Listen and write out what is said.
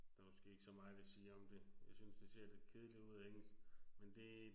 Der er måske ikke så meget jeg vil sige om det. Jeg synes det ser lidt kedeligt ud ik men det